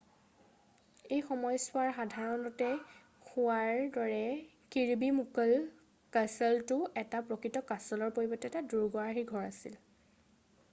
এই সময়ছোৱাৰ সাধাৰণতে হোৱাৰ দৰে কিৰ্বি মুকল' কাছলটো এটা প্ৰকৃত কাছলৰ পৰিৱৰ্তে এটা দুৰ্গ আৰ্হিৰ ঘৰ আছিল